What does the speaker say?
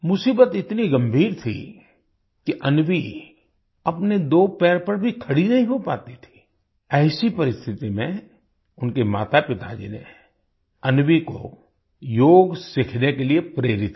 मुसीबत इतनी गंभीर थी कि अन्वी अपने दो पैर पर भी खड़ी नहीं हो पाती थी ऐसी परिस्थिति में उनके मातापिताजी नेअन्वी को योग सीखने के लिए प्रेरित किया